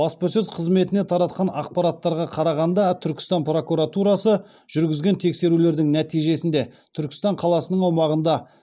баспасөз қызметіне таратқан ақпараттарға қарағанда түркістан прокуратурасы жүргізген тексерулердің нәтижесінде түркістан қаласының аумағында